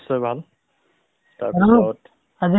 হয়, খবৰ মোৰ ভাল আৰু তোমাৰ কুৱা ?